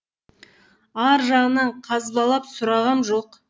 ар жағынан қазбалап сұрағам жоқ